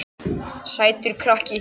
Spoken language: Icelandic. Sætur krakki!